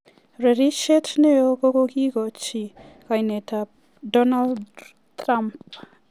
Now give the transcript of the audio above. Reresiet ne o kokigochi kainetab Donald Trump